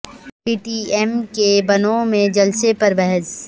پی T M کے بنوں میں جلسے پر بحث